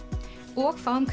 og fáum